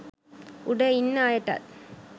උඩ ඉන්න අයටත්